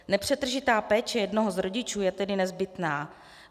Nepřetržitá péče jednoho z rodičů je tedy nezbytná.